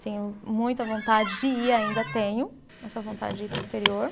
Tenho muita vontade de ir, ainda tenho essa vontade de ir para o exterior.